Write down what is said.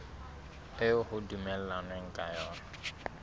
eo ho dumellanweng ka yona